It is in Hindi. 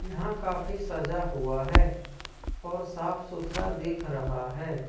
यहां काफी सजा हुआ है और साफ सुथरा देख रहा है।